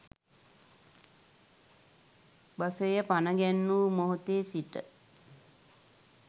බසය පණ ගැන්වූ මොහොතේ සිට